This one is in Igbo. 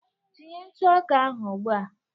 Tinye ntụ ọka ahụ ugbu a